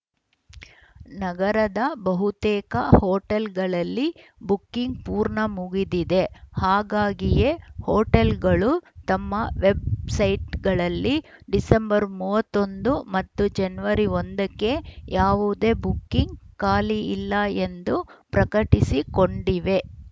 ನಗರದ ಬಹುತೇಕ ಹೋಟೆಲ್‌ಗಳಲ್ಲಿ ಬುಕಿಂಗ್‌ ಪೂರ್ಣ ಮುಗಿದಿದೆ ಹಾಗಾಗಿಯೇ ಹೋಟೆಲ್‌ಗಳು ತಮ್ಮ ವೆಬ್ಸೈಟ್ಗಳಲ್ಲಿ ಡಿಸೆಂಬರ್ ಮೂವತ್ತ್ ಒಂದು ಮತ್ತು ಜನವರಿ ಒಂದ ಕ್ಕೆ ಯಾವುದೇ ಬುಕಿಂಗ್‌ ಖಾಲಿ ಇಲ್ಲ ಎಂದು ಪ್ರಕಟಿಸಿಕೊಂಡಿವೆ